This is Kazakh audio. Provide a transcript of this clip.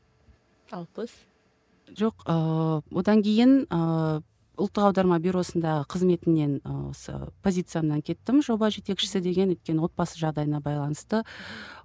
алпыс жоқ ыыы одан ыыы кейін ұлтық аударма бюросындағы қызметімнен осы позициямнан кеттім жоба жетекшісі деген өйткені отбасы жағдайына байланысты